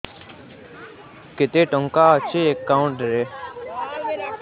କେତେ ଟଙ୍କା ଅଛି ଏକାଉଣ୍ଟ୍ ରେ